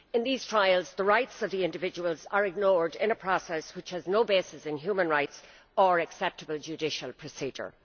In these trials the rights of the individuals are ignored in a process which has no basis in human rights or acceptable judicial procedure.